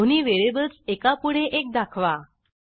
दोन्ही व्हेरिएबल्स एकापुढे एक दाखवा